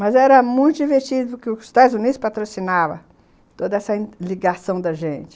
Mas era muito divertido porque os Estados Unidos patrocinavam toda essa ligação da gente.